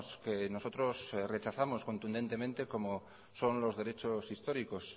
que nosotros rechazamos contundentemente como son los derechos históricos